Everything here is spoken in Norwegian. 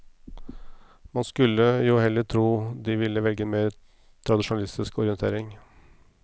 Man skulle jo heller tro de ville velge en mer tradisjonalistisk orientering.